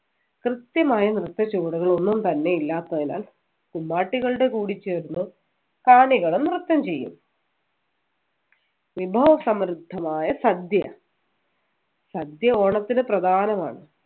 കൃത്യമായ നൃത്ത ചുവടുകൾ ഒന്നും തന്നെ ഇല്ലാത്തതിനാൽ കുമ്മാട്ടികളുടെ കൂടിച്ചേരുമ്പോൾ കാണികളും നൃത്തം ചെയ്യും വിഭവസമൃദ്ധമായ സദ്യ സദ്യ ഓണത്തിന് പ്രധാനമാണ്